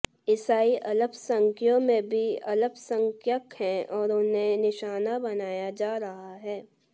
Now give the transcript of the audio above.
ईसाई अल्पसंख्यों में भी अल्पसंख्यक हैं और उन्हें निशाना बनाया जा रहा है